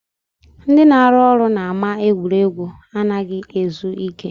Ndị na-arụ ọrụ n'ama egwuregwu anaghị ezu ike